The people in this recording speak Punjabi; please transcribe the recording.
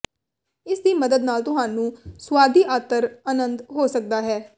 ਇਸ ਦੀ ਮਦਦ ਨਾਲ ਤੁਹਾਨੂੰ ਸੁਆਦੀ ਅਤਰ ਆਨੰਦ ਹੋ ਸਕਦਾ ਹੈ